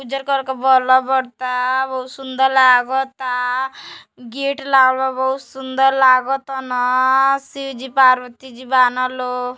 उजर कलर बल बरता बहुत सुंदर लागता गेट लागल बा बहुत सुंदर लागता न शिवजी पार्वती जी बा न लो --